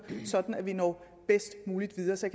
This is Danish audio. sådan at vi når bedst muligt videre så